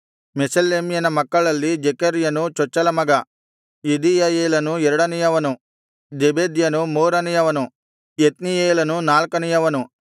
ಮೆಷೆಲೆಮ್ಯನ ಮಕ್ಕಳಲ್ಲಿ ಜೆಕೆರ್ಯನು ಚೊಚ್ಚಲ ಮಗ ಎದೀಯಯೇಲನು ಎರಡನೆಯವನು ಜೆಬೆದ್ಯನು ಮೂರನೆಯವನು ಯೆತ್ನಿಯೇಲನು ನಾಲ್ಕನೆಯವನು